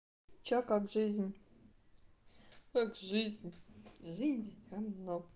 что как жизнь как жизнь жизнь говно